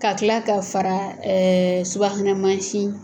Ka tila ka fara subahana mansin